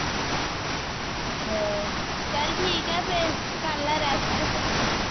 ਚਲ ਠੀਕ ਹੈ ਫੇਰ ਕਰਲੈ rest